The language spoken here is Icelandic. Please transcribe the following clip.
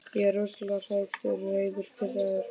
Ég er rosalega hræddur, reiður, pirraður.